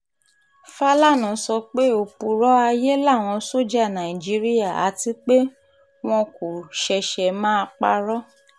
fàlànà sọ pé òpùrọ́ ayé làwọn sójà nàìjíríà àti pé wọn kò ṣẹ̀ṣẹ̀ máa parọ́